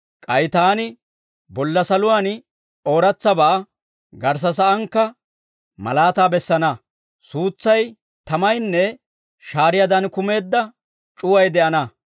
K'ay Taani bolla saluwaan ooratsabaa, garssa saankka malaataa bessana. Suutsay, tamaynne shaariyaadan, kammeedda c'uway de'ana.